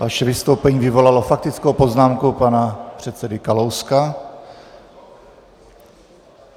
Vaše vystoupení vyvolalo faktickou poznámku pana předsedy Kalouska.